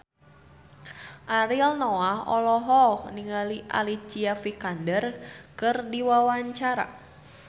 Ariel Noah olohok ningali Alicia Vikander keur diwawancara